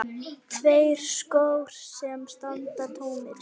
Tveir skór sem standa tómir.